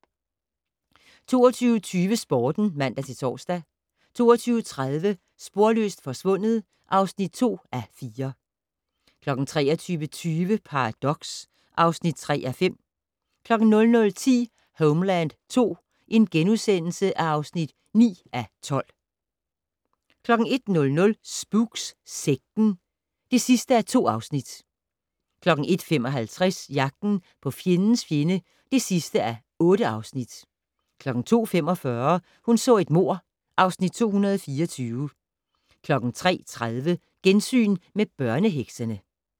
22:20: Sporten (man-tor) 22:30: Sporløst forsvundet (2:4) 23:20: Paradox (3:5) 00:10: Homeland II (9:12)* 01:00: Spooks: Sekten (2:2) 01:55: Jagten på fjendens fjende (8:8) 02:45: Hun så et mord (Afs. 224) 03:30: Gensyn med børneheksene